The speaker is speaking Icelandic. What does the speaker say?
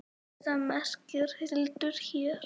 Orrusta merkir hildur hér.